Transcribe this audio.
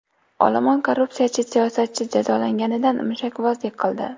Olomon korrupsiyachi siyosatchi jazolanganidan mushakbozlik qildi.